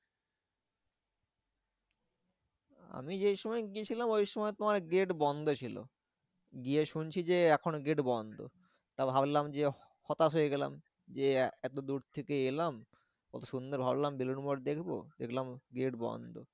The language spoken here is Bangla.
আমি যেই সময় গিয়েছিলাম ওই সময় তোমার gate বন্ধ ছিল। গিয়ে শুনছি যে এখন gate বন্ধ। তারপর ভাবলাম যে হতাশ হয়ে গেলাম যে, এত দূর থেকে এলাম কত সুন্দর ভাবলাম বেলুড় মঠ দেখবো দেখলাম gate বন্ধ।